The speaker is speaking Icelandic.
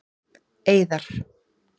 Eiðar